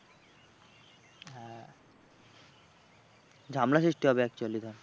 ঝামেলা সৃষ্টি হবে actually ধর।